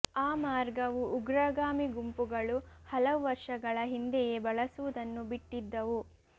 ಆ ಮಾರ್ಗವು ಉಗ್ರಗಾಮಿ ಗುಂಪುಗಳು ಹಲವು ವರ್ಷಗಳ ಹಿಂದೆಯೇ ಬಳಸುವುದನ್ನು ಬಿಟ್ಟಿದ್ದವು